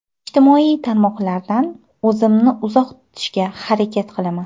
Ijtimoiy tarmoqlardan o‘zimni uzoq tutishga harakat qilaman.